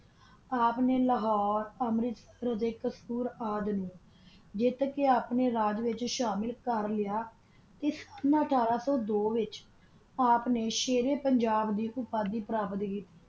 ਆਪ ਨਾ ਲਾਹੋਰੇ ਅਮੇਰਾਤ੍ਸਿਰ ਕਸੂਰ ਨੂ ਜਾਤ ਕਾ ਆਪਣਾ ਰਾਜ ਵਿਤਚ ਸ਼ਾਮਲ ਕਰ ਲ੍ਯ ਤਾ ਅਥਾਰ ਸੋ ਦੋ ਆਪ ਨਾ ਸਹਾਰਾ ਪੰਜਾਬ ਦੀ ਟਰਾਫੀ ਪ੍ਰੇਫੇਰ ਕੀਤੀ